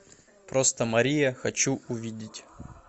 просто мария хочу увидеть